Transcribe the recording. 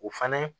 O fana